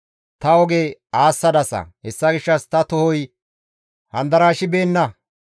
Ta oge aassadasa; hessa gishshas ta tohoy handarashibeenna.